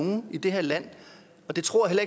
nogen i det her land og det tror jeg